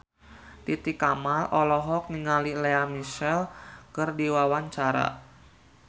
Titi Kamal olohok ningali Lea Michele keur diwawancara